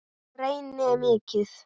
Reyni mikið.